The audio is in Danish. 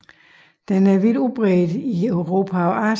Den er vidt udbredt i Europa og Asien